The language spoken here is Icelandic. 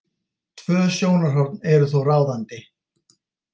Tvö sjónarhorn eru þó ráðandi.